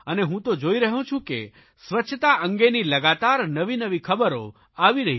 અને હું તો જોઇ રહ્યો છું કે સ્વચ્છતા અંગેની લગાતાર નવીનવી ખબરો આવી રહી છે